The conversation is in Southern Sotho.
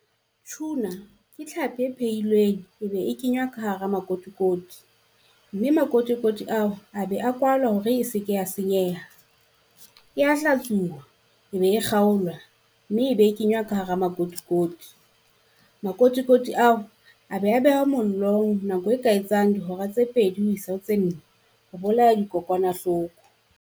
Tuna, ke tlhapi e phehilweng e be e kenywa ka hara makotikoti. Mme makotikoti ao a be a kwalwa hore e se ke ya senyeha, e ya hlatsuwa e be e kgaolwa mme e be kenywa ka hara makotikoti. Makotikoti ao be a behwa mollong nako e ka etsang dihora tse pedi ho isa ho tse nne ho bolaya dikokwanahloko.